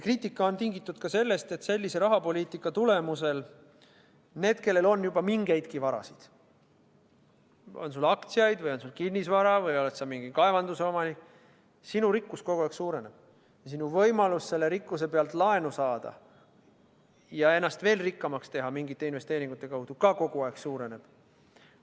Kriitika on tingitud ka sellest, et sellise rahapoliitika tõttu on nii, et need, kellel juba on mingisugust vara – on sul aktsiaid või kinnisvara või oled sa mingi kaevanduse omanik –, nende rikkus kogu aeg suureneb ning võimalus selle rikkuse pealt laenu saada ja ennast mingisuguste investeeringute kaudu veel rikkamaks teha samuti kogu aeg suureneb.